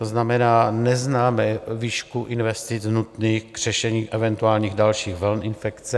To znamená, neznáme výšku investic nutných k řešení eventuálních dalších vln infekce.